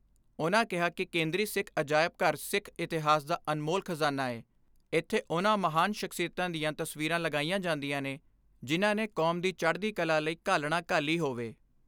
ਉਨ੍ਹਾਂ ਕਿਹਾ ਕਿ ਕੇਂਦਰੀ ਸਿੱਖ ਅਜਾਇਬ ਘਰ ਸਿੱਖ ਇਤਿਹਾਸ ਦਾ ਅਨਮੋਲ ਖਜ਼ਾਨਾ ਐ, ਇਥੇ ਉਨ੍ਹਾਂ ਮਹਾਨ ਸਖਸ਼ੀਅਤਾਂ ਦੀਆਂ ਤਸਵੀਰਾਂ ਲਗਾਈਆਂ ਜਾਂਦੀਆਂ ਨੇ, ਜਿਨ੍ਹਾਂ ਨੇ ਕੌਮ ਦੀ ਚੜ੍ਹਦੀ ਕਲਾ ਲਈ ਘਾਲਣਾ ਘਾਲੀ ਹੋਵੇ।